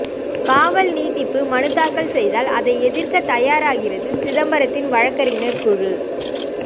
காவல் நீட்டிப்பு மனு தாக்கல் செய்தால் அதை எதிர்க்க தயாராகிறது சிதம்பரத்தின் வழக்கறிஞர் குழு